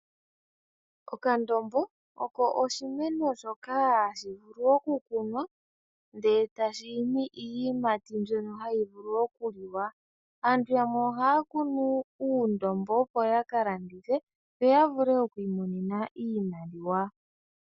Okandombo oko oshimeno shoka hashi vulu okukunwa ndele etashi imi iiyimati mbyono hayi vulu okuliwa. Aantu yamwe ohaya kunu uundombo opo ya kalandithe yo yavule okwiimonena iimaliwa.